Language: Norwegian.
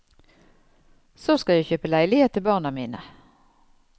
Så skal jeg kjøpe leilighet til barna mine.